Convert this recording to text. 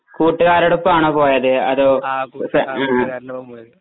കൂട്ടുകാരോടൊപ്പമാണോ പോയത് അതോ ഫ്ര